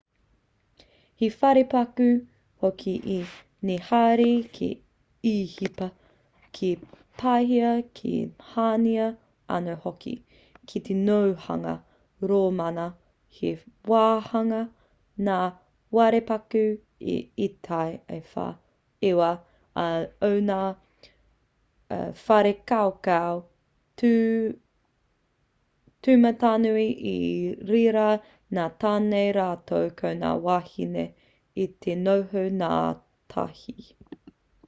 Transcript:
he wharepaku hoki i neherā ki īhipa ki pāhia ki haina anō hoki ki te nōhanga rōmana he wāhanga ngā wharepaku i ētahi wā o ngā whare kaukau tūmatanui i reira ngā tāne rātou ko ngā wāhine i te noho ngātahi